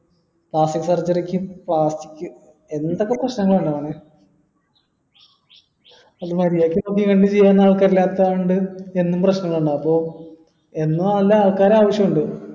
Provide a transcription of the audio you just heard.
plastic surgery ക്ക് plastic എന്തൊക്കെ പ്രശ്നങ്ങളാണ് അൾക്കാറില്ലാത്തോണ്ട് എന്നും പ്രശ്നങ്ങളാണ് അപ്പൊ എന്നും നല്ല ആൾക്കാരെ ആവശ്യമുണ്ട്